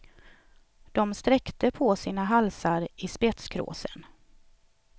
De sträckte på sina halsar i spetskråsen.